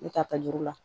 Ne ta ta juru la